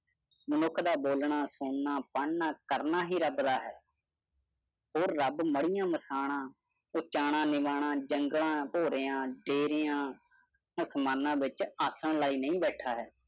ਮਨੁੱਖ ਦਾ ਬੋਲ ਨਾ, ਸੁਨਣਾ, ਪੜਨਾ ਕਰਨਾ ਹੀ ਰੱਬ ਦਾ ਹੈ। ਹੋਰ ਰੱਬ ਮਰਿਆ ਮਸਾਣਾ, ਉਚਾਣਾਂ ਨਿਵਾਣਾਂ, ਜੰਗਲਾਂ, ਜੇਰੀਆਂ, ਅਸਮਾਨਾਂ ਵਿਚ ਆਸਨ ਲਈ ਨਹੀਂ ਬੈਠਾ ਹੈ।